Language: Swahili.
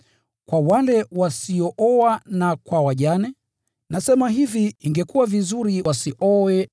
Kwa wale wasiooa na kwa wajane, nasema hivi, ingekuwa vizuri wasioe.